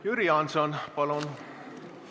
Jüri Jaanson, palun!